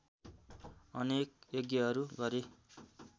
अनेक यज्ञहरू गरे